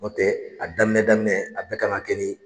N'o tɛ a daminɛ daminɛ a bɛɛ kan ka kɛ ni